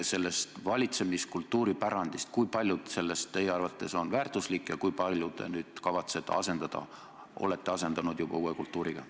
Rääkige valitsemiskultuuri pärandist, kui palju sellest teie arvates on väärtuslik ja kui palju sellest te kavatsete asendada või olete juba asendanud uue kultuuriga.